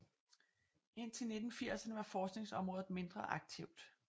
Indtil 1980erne var forskningsområdet mindre aktivt